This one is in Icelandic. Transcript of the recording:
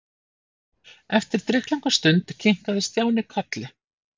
Eftir drykklanga stund kinkaði Stjáni kolli.